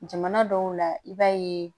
Jamana dɔw la i b'a ye